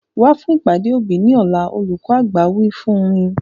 Wa fún ìpàdé òbí ni ọ̀la! Olùkọ́ àgbà wí fún mi.